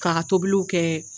K'a ka tobiliw kɛ